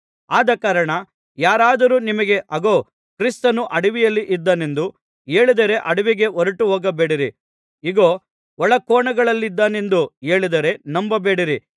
ಆದಕಾರಣ ಯಾರಾದರು ನಿಮಗೆ ಅಗೋ ಕ್ರಿಸ್ತನು ಅಡವಿಯಲ್ಲಿ ಇದ್ದಾನೆಂದು ಹೇಳಿದರೆ ಅಡವಿಗೆ ಹೊರಟುಹೋಗಬೇಡಿರಿ ಇಗೋ ಒಳಕೋಣೆಗಳಲ್ಲಿದ್ದಾನೆಂದು ಹೇಳಿದರೆ ನಂಬಬೇಡಿರಿ